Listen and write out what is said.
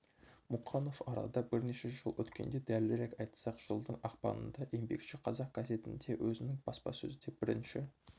мұқанов арада бірнеше жыл өткенде дәлірек айтсақ жылдың ақпанында еңбекші қазақ газетінде өзінің баспасөзде бірінші